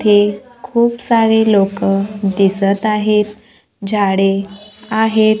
इथे खूप सारे लोकं दिसत आहेत झाडे आहेत.